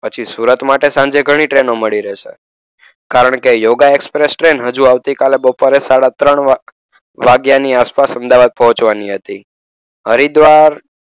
પછી સુરત માટે સાંજે ઘણી ટ્રેનો મળી રહેશે. કારણ કે યોગા એક્સપ્રેસ ટ્રેન હજુ આવતીકાલે બપોરે સાડાત્રણ વાગે વાગ્યાની આસપાસ અમદાવાદ પહોંચવાની હતી. હરિદ્વાર